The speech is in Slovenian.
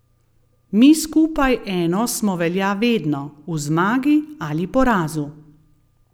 Mi skupaj eno smo velja vedno, v zmagi ali porazu.